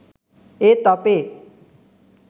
ඒත් අපේ